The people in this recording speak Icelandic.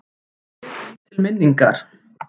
Ég bý til minningar.